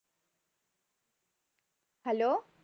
Hello